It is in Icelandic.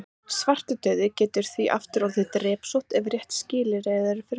Svartidauði getur því aftur orðið að drepsótt ef réttu skilyrðin eru fyrir hendi.